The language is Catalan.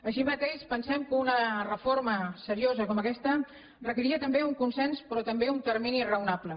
així mateix pensem que una reforma seriosa com aquesta requeria també un consens però també un termini raonable